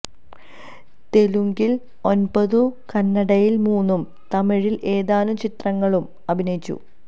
തെലുങ്കില് ഒന്പതും കന്നടയില് മൂന്നും തമിഴില് ഏതാനും ചിത്രങ്ങളിലും അഭിനയിച്ചു